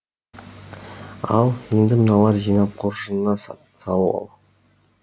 ал енді мыналарды жинап қоржыныңа салып ал